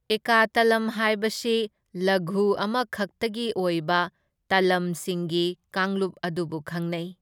ꯑꯦꯀꯥ ꯇꯂꯝ ꯍꯥꯢꯕꯁꯤ ꯂꯘꯨ ꯑꯃ ꯈꯛꯇꯒꯤ ꯑꯣꯏꯕ ꯇꯥꯂꯝꯁꯤꯡꯒꯤ ꯀꯥꯡꯂꯨꯞ ꯑꯗꯨꯕꯨ ꯈꯪꯅꯩ꯫